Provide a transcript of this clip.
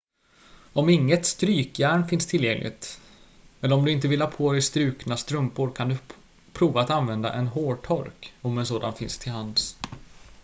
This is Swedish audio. om inget strykjärn finns tillgängligt eller om du inte vill ha på dig strukna strumpor kan du prova att använda en hårtork om en sådan finns till hands